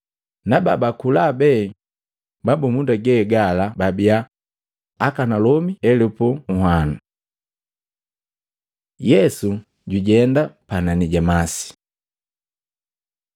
Nababa kula be mabumunda ge gala babia akanalomi elupu nhwanu. Yesu jujenda panani ja masi Matei 14:22-33; Yohana 6:15-21